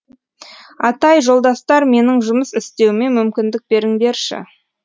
атай жолдастар менің жұмыс істеуіме мүмкіндік беріңдерші